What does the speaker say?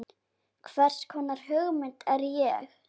Hvers konar hugmynd er ég?